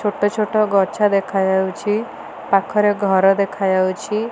ଛୋଟ ଛୋଟ ଗଛ ଦେଖାଯାଉଛି। ପାଖରେ ଘର ଦେଖାଯାଉଛି।